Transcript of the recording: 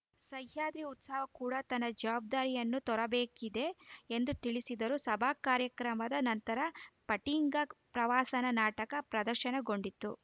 ಸಹ್ಯಾದ್ರಿ ಉತ್ಸವ ಕೂಡ ತನ್ನ ಜವಾಬ್ದಾರಿಯನ್ನು ತೋರಬೇಕಿದೆ ಎಂದು ತಿಳಿಸಿದರು ಸಭಾ ಕಾರ್ಯಕ್ರಮದ ನಂತರ ಫಟ್ಟಿಂಗ ಪ್ರಹಸನ ನಾಟಕ ಪ್ರದರ್ಶನಗೊಂಡಿತು